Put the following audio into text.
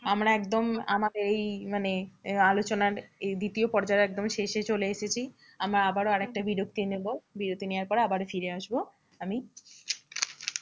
আমরা একদম আমাদের এই মানে আলোচনার দ্বিতীয় পর্যায়ের একদম শেষে চলে এসেছি। আমরা আবারও আর একটা বিরতি নেবো, বিরতি নেওয়ার পড়ে আবারো ফিরে আসবো আমি